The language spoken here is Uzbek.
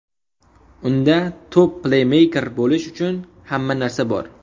Unda top-pleymeyker bo‘lish uchun hamma narsa bor.